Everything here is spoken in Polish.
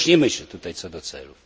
Nie różnimy się tutaj co do celów.